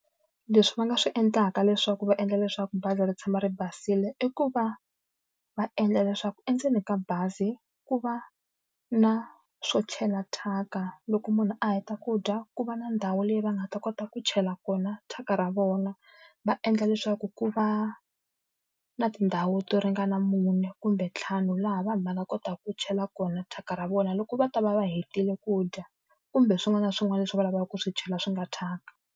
Leswi va nga swi endlaka leswaku va endla leswaku bazi ri tshama ri basile, i ku va va endla leswaku endzeni ka bazi ku va na swo chela thyaka. Loko munhu a heta ku dya, ku va na ndhawu leyi va nga ta kota ku chela kona thyaka ra vona. Va endla leswaku ku va na tindhawu to ringana mune kumbe ntlhanu laha vanhu va nga kotaka ku chela kona thyaka ra vona loko va ta va va hetile ku dya, kumbe swin'wana na swin'wana leswi va lavaka ku swi chela swi nga thyaka.